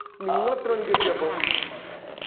നിങ്ങള് എത്ര മണിക്ക എത്യ അപ്പൊ